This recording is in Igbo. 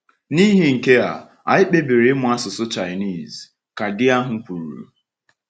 “N’ihi nke a, anyị kpebiri ịmụ asụsụ Chinese,” ka di ahụ kwuru.